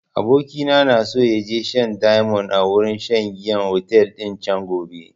Abokina na so ya je shan diamond a wurin shan giyan otel din can gobe